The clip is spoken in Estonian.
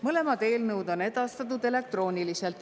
Mõlemad eelnõud on edastatud elektrooniliselt.